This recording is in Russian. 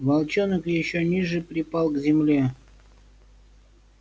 волчонок ещё ниже припал к земле